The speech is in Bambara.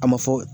A ma fɔ